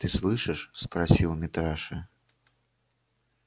ты слышишь спросил митраша